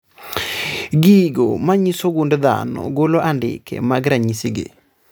Gigo manyiso gund dhano golo andike mag ranyisi gi